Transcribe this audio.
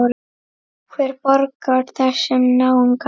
Hver borgar þessum náunga?